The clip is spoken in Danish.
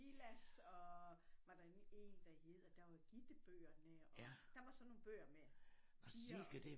Silas og var der nemlig en der hed og der var Gitte bøgerne og der var sådan nogle bøger med piger og